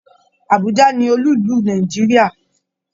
Abùjá ni olú ìlú Nàìjíríà.